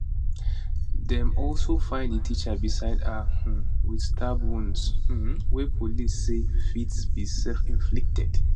dem also find di teacher beside her um wit stab wounds um wey police say fit be selfinflicted